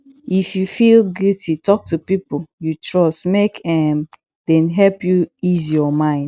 if yu feel guilty talk to pipo yu trust mek um dem help yu ease yur mind